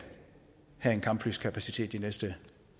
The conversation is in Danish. have en kampflykapacitet de næste